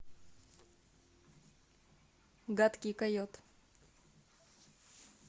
гадкий койот